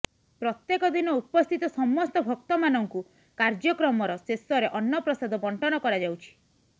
ପ୍ରତ୍ୟେକ ଦିନ ଉପସ୍ଥିତ ସମସ୍ତ ଭକ୍ତ ମାନଙ୍କୁ କାର୍ଯ୍ୟକ୍ରମର ଶେଷରେ ଅନ୍ନପ୍ରସାଦ ବଣ୍ଟନ କରାଯାଉଛି